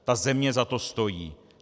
Ta země za to stojí.